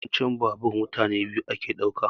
Yawanci babur mutane biyu yake ɗauka